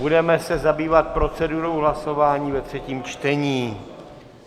Budeme se zabývat procedurou hlasování ve třetím čtení.